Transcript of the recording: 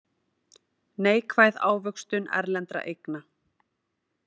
Neikvæð ávöxtun erlendra eigna